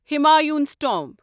Humayun's tomb